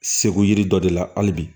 Segu yiri dɔ de la hali bi